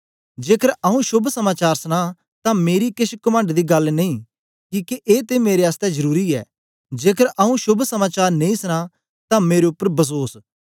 जेकर आऊँ शोभ समाचार सनां तां मेरी केछ कमंड दी गल्ल नेई किके ए ते मेरे आसतै जरुरी ऐ जेकर आऊँ शोभ समाचार नेई सनां तां मेरे उपर बसोस